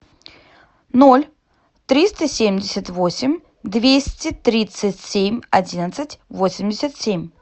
ноль триста семьдесят восемь двести тридцать семь одиннадцать восемьдесят семь